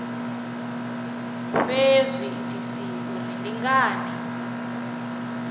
fhe zwiitisi uri ndi ngani